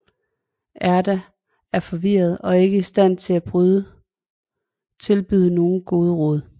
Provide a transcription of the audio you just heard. Erda er forvirret og ikke i stand til at tilbyde nogen gode råd